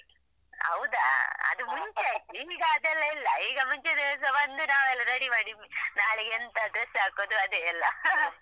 ಹೌದಾ ಅದು ಮುಂಚೆ ಆಯ್ತು ಈಗ ಅದೆಲ್ಲ ಇಲ್ಲ ಈಗ ಮುಂಚಿನ ದಿವಸ ಬಂದು ನಾವೆಲ್ಲ ready ಮಾಡಿ ನಾಳೆಗೆ ಎಂತ dress ಹಾಕುದು ಅದೆ ಎಲ್ಲ.